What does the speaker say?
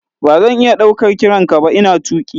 Ba zan iya ɗaukar kiran ka ba ina tuƙi.